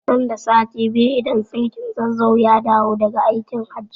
Nan da sati biyu idan sarkin Zazzau ya dawo da ga aikin hajji